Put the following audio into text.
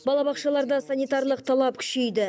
балабақшаларда санитарлық талап күшейді